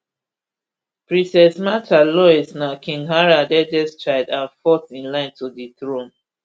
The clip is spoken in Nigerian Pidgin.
princess mrtha louise na king harald eldest child and fourth in line to di throne